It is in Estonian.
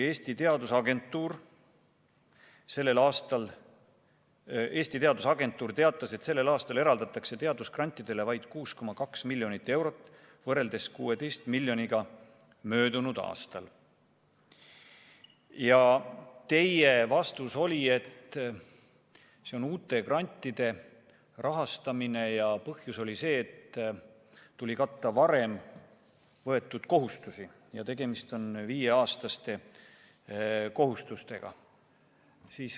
Eesti Teadusagentuur teatas, et sellel aastal eraldatakse teadusgrantidele vaid 6,2 miljonit eurot võrreldes 16 miljoniga möödunud aastal, ja teie vastus oli, et see on uute grantide rahastamine ja põhjus oli see, et tuli katta varem võetud kohustusi, ja tegemist on viieaastaste kohustustega.